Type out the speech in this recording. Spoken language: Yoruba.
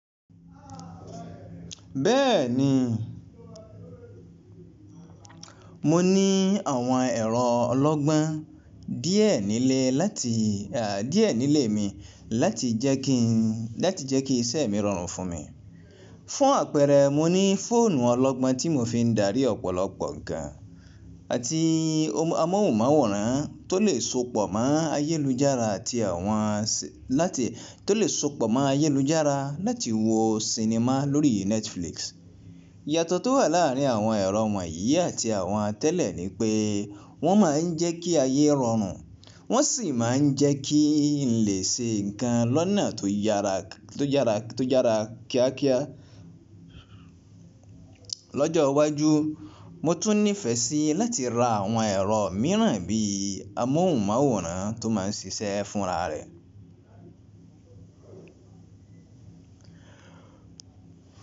Bẹ́ẹ̀ni, mo ní àwọn ẹ̀rọ ọlọ́gbọ́n díẹ̀ nílé lati, díẹ̀ nílé mi láti jẹ́ kí ìṣe mi rọrùn fún mi. Fún àpẹẹrẹ, mo ní fóònù ọlọ́gbọ́n tí mo fi ń darí ọ̀pọ̀lọpọ̀ ǹkan àti amóhùnmáwòrán tó lè sopọ̀ mọ́ ayélujára láti wo sinimá lórí Netflix. Iyàtọ̀ tó wà láàárín àwọn ẹ̀rọ wọ̀nyí àti àwọn tẹ́lẹ̀ ni pé wọ́n máa ń jẹ́ kí ayé rọrùn, wọ́n sì máa ń jẹ́ kí n lè ṣe ǹkan lọ́nà tó yára kíákíá. Lọ́jọ́ iwájú, mo tún nífẹ̀ẹ́ sí láti ra àwọn ẹ̀rọ mìíràn bí i amóhùnmáwòrán tó máa ń ṣiṣẹ́ fúnra rẹ̀